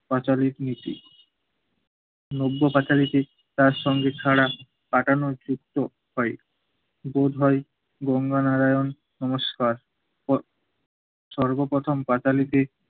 পাঁচালীক নীতি। নব্য পাঁচালীকে তার সঙ্গে ছাড়া কাটানোর উক্ত হয় বোধহয় দুভাই গঙ্গা নারায়ণ সংস্কার ও সর্বপ্রথম পাঁচালীকে